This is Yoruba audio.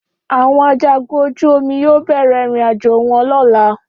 Áwọn ajagun ojú omi yóò bẹ̀rẹ̀ ìrìnàjò wọn lọ́la